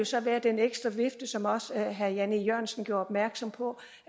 så være den ekstra vifte som også herre jan e jørgensen gjorde opmærksom på